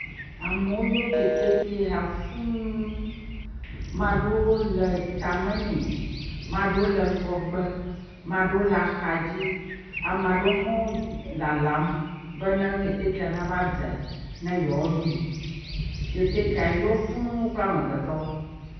Amewo yɔ keteke ya fũu, ame aɖewo le ketekea tame nɛ, ame aɖewo le ŋgɔgbe, ame aɖewo le exa dzi, ame aɖewo hã lalam be ne ketekea nava dze ne yewoaɖoe, ketekea yɔ kple amegbetɔ